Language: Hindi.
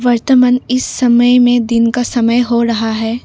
इस समय में दिन का समय हो रहा है।